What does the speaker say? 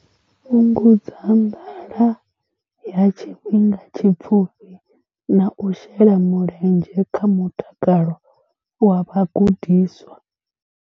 Fhungudza nḓala ya tshifhinga tshipfufhi na u shela mulenzhe kha mutakalo wa vhagudiswa.